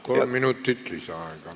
Kolm minutit lisaaega.